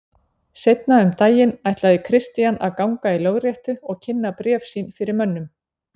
Seinna um daginn ætlaði Christian að ganga í lögréttu og kynna bréf sín fyrir mönnum.